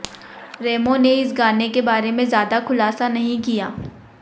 रेमो ने इस गाने के बारे में ज्यादा खुलासा नहीं किया